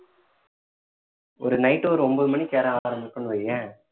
ஒரு night ஒரு ஒன்பது மணிக்கு ஏற ஆரம்பிக்கோம்னு வையேன்